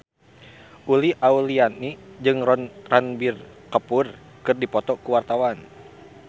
Uli Auliani jeung Ranbir Kapoor keur dipoto ku wartawan